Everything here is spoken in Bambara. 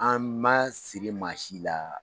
An ma siri maa si la